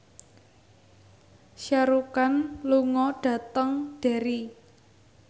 Shah Rukh Khan lunga dhateng Derry